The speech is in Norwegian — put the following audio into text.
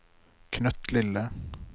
knøttlille